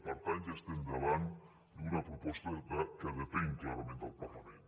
per tant ja estem davant d’una proposta que depèn clarament del parlament